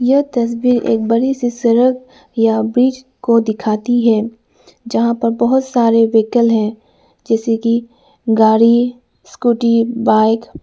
यह तस्वीर एक बड़ी सी सड़क या ब्रिज को दिखाती है जहां पर बहुत सारे व्हीकल हैं जैसे की गाड़ी स्कूटी बाइक ।